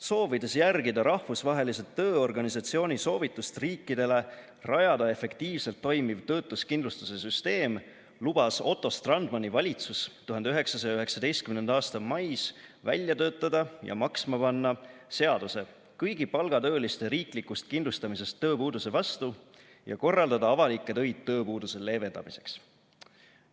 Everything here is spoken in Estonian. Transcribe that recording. Soovides järgida Rahvusvahelise Tööorganisatsiooni soovitust riikidele rajada efektiivselt toimiv töötuskindlustuse süsteem, lubas Otto Strandmani valitsus 1919. aasta mais välja töötada ja maksma panna seaduse kõigi palgatööliste riiklikust kindlustamisest tööpuuduse vastu ja korraldada avalikke töid tööpuuduse leevendamiseks.